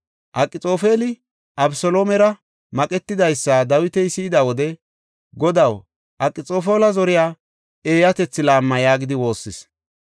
Akxoofeli Abeseloomera maqetidaysa Dawiti si7ida wode “Godaw, Akxoofela zoriya eeyatethi laamma” yaagidi woossis.